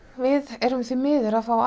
við erum því miður að fá